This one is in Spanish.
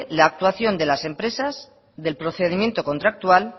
la actuación de las empresas del procedimiento contractual